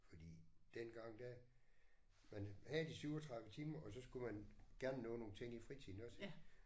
Fordi dengang der man havde de 37 timer og så skulle man gerne nå nogle ting i fritiden også